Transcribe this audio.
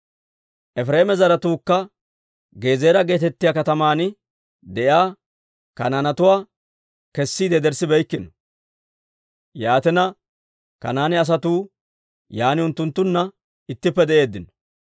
Efireema zaratuukka Gezeera geetettiyaa kataman de'iyaa Kanaanetuwaa kessiide yederssibeykkino; yaatina, Kanaane asatuu yaan unttunttunna ittippe de'eeddino.